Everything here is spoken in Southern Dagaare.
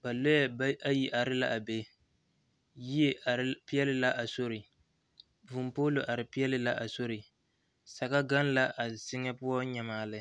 ba lɔɛ ayi are la be yie are peɛle la a sori vūū pɔlo are peɛle la a sori saga gaŋ la a zie ŋa poɔ nyamaa lɛ.